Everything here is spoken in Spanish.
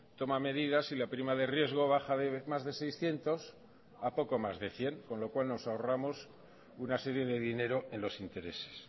toma medidas y la prima de riesgo baja de más de seiscientos a poco más de cien con lo cual nos ahorramos una serie de dinero en los intereses